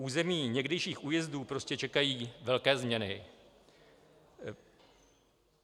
Území někdejších újezdů prostě čekají velké změny.